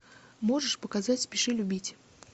можешь показать спеши любить